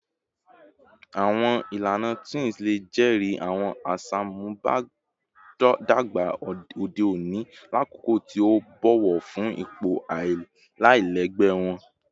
Awọn ilana twins le jẹri awọn aṣamubadọgba ode oni lakoko ti o bọwọ fun ipo alailẹgbẹ wọn